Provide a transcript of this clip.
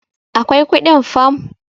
akwai kudin fam